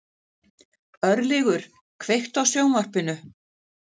Örlygur, kveiktu á sjónvarpinu.